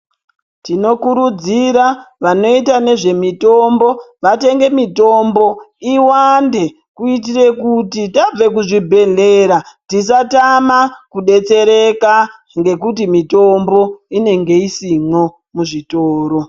Tino kurudzira vanoita nezve mitombo vatenge mitombo iwande kuitire kuti tabve ku zvibhedhlera tisa tama ku detsereka ngekuti mitombo inenge isimwo muzvitoro.